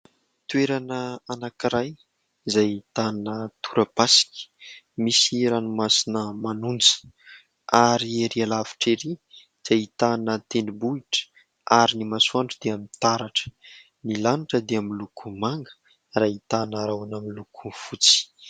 Toerana anankiray izay ahitana torapasika, misy ranomasina manonja, ary ery alavitra erỳ dia ahitana tendrombohitra, ary ny masoandro dia mitaratra, ny lanitra dia miloko manga ary ahitana rahona miloko fotsy.